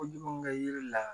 Kojugu kɛ yiri la